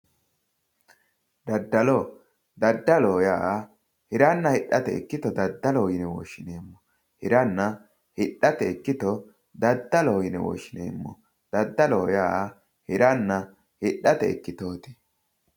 Daddalo, daddaloho yaa hiranna hidhate ikkitto daddaloho yine woshshinanni, hiranna hidhate ikkitto daddalo yine woshshineemmo, daddalo yaa hiranna hidhate ikkitooti.